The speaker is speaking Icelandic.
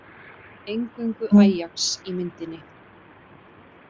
Eingöngu Ajax í myndinni